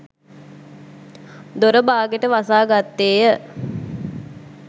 දොර බාගෙට වසාගත්තේය.